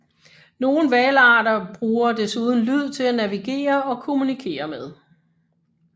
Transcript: Nogle hvalarter bruger desuden lyd til at navigere og kommunikere med